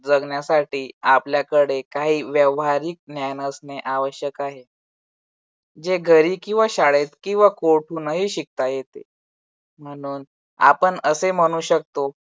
जगण्यासाठी आपल्याकडे काही व्यावहारिक ज्ञान असणे आवश्यक आहे. जे घरी किंवा शाळेत किंवा कोठूनही शिकता येते म्हणून आपण असे म्हणू शकतो